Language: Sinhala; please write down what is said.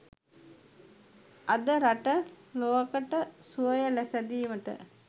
අද රට ලොවකට සුවය සැදීමට